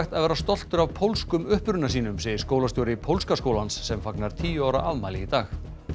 að vera stoltur af pólskum uppruna sínum segir skólastjóri pólska skólans sem fagnar tíu ára afmæli í dag